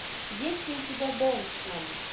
есть ли у тебя бэндслэм